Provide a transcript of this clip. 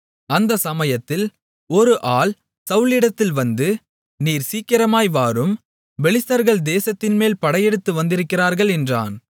அந்தச் சமயத்தில் ஒரு ஆள் சவுலிடத்தில் வந்து நீர் சீக்கிரமாய் வாரும் பெலிஸ்தர்கள் தேசத்தின்மேல் படையெடுத்து வந்திருக்கிறார்கள் என்றான்